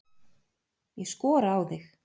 Ég skora á þig!